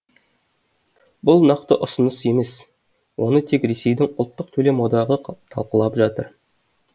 бұл нақты ұсыныс емес оны тек ресейдің ұлттық төлем одағы талқылап жатыр